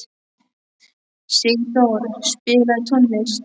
Sigdór, spilaðu tónlist.